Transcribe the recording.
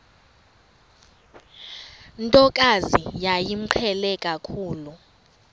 ntokazi yayimqhele kakhulu